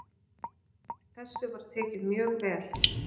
Þessu var tekið mjög vel.